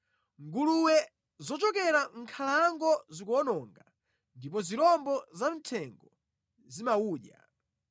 Nguluwe zochokera mʼnkhalango zikuwononga ndipo zirombo za mthengo zimawudya.